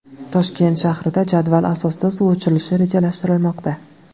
Toshkent shahrida jadval asosida suv o‘chirilishi rejalashtirilmoqda.